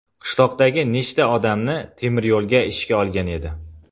Qishloqdagi nechta odamni temiryo‘lga ishga olgan edi.